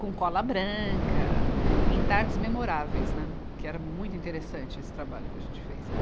com cola branca, em tardes memoráveis, né, que era muito interessante esse trabalho que a gente fez o.